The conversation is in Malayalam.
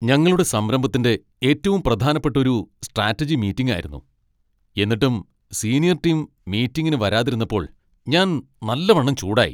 ഞങ്ങളുടെ സംരഭത്തിൻ്റെ ഏറ്റവും പ്രധാനപ്പെട്ട ഒരു സ്ട്രാറ്റജി മീറ്റിങ് ആയിരുന്നു, എന്നിട്ടും സീനിയർ ടീം മീറ്റിങ്ങിന് വരാതിരുന്നപ്പോൾ ഞാൻ നല്ലവണ്ണം ചൂടായി.